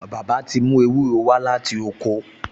Bàbá ti mú ewúro wá láti oko